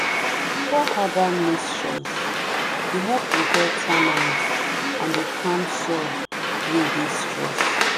pour herbal mixtures dey help repel termites and dey calm soil wey dey stressed.